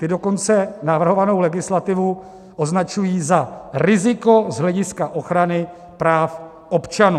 Ty dokonce navrhovanou legislativu označují za riziko z hlediska ochrany práv občanů.